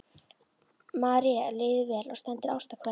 Marie líður vel og sendir ástarkveðjur.